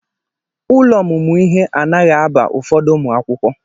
Ụlọ ọmụmụ ihe anaghị aba ụfọdụ ụmụ akwụkwọ.